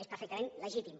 és perfectament legítim